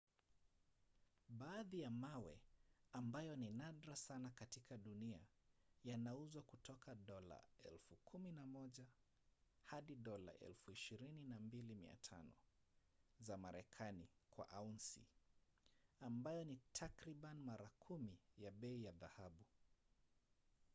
baadhi ya mawe ambayo ni nadra sana katika dunia yanauzwa kutoka dola 11,000 hadi dola 22,500 za marekani kwa aunsi ambayo ni takriban mara kumi ya bei ya dhahabu